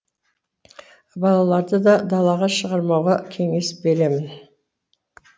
балаларды да далаға шығармауға кеңес беремін